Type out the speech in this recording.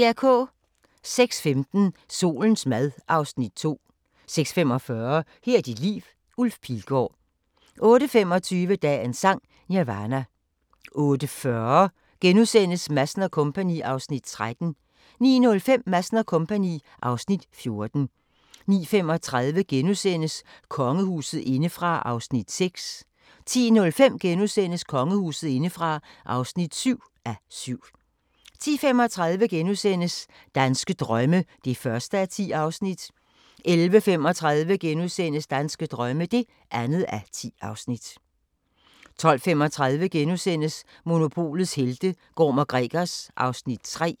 06:15: Solens mad (Afs. 2) 06:45: Her er dit liv – Ulf Pilgaard 08:25: Dagens Sang: Nirvana 08:40: Madsen & Co. (Afs. 13)* 09:05: Madsen & Co. (Afs. 14) 09:35: Kongehuset indefra (6:7)* 10:05: Kongehuset indefra (7:7)* 10:35: Danske drømme (1:10)* 11:35: Danske drømme (2:10)* 12:35: Monopolets helte - Gorm & Gregers (Afs. 3)*